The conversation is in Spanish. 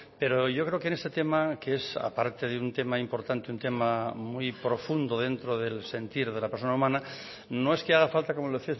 pero yo creo que en este tema que es aparte de un tema importante un tema muy profundo dentro del sentir de la persona humana no es que haga falta como le